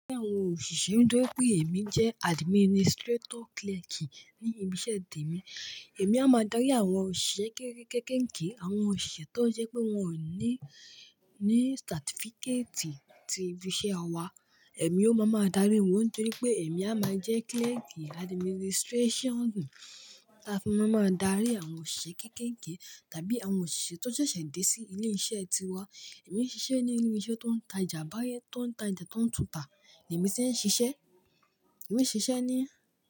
Ní àwọn òṣìṣẹ́, nítorí pé èmi jẹ́ administrator clerk ní ibi iṣẹ́ mi, èmi a máa darí àwọn òṣìṣẹ́ kéékèèké, àwọn òṣìṣẹ́ tó jẹ́ pé wọ́n ò ní ní certificate ti ibi iṣẹ́ wa, èmi ó máa ma darí wọ́n nítorí pé èmi a máa jẹ́ clerk administration. A fi máa ma darí àwọn òṣìṣẹ́ kéékèèké tàbí àwọn òṣìṣẹ́ tó ṣẹ̀ṣẹ̀ dé sí ilé iṣẹ́ tiwa. Èmi n ṣiṣẹ́ ní ilé iṣẹ́ tó ń ta ìjà abáyé, tó ń ta oja tó ń tùntà. Ni èmi ti n ṣiṣẹ́, èmi n ṣiṣẹ́ ní.